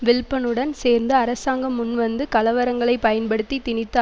வில்ப்பனுடன் சேர்ந்து அரசாங்கம் முன்வந்து கலவரங்களை பயன்படுத்தி திணித்த